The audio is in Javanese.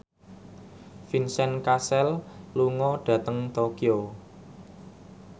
Vincent Cassel lunga dhateng Tokyo